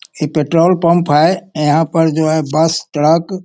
ई petrol pump है यहाँ पर जो है बस ट्रक --